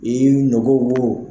I ni nogo wo.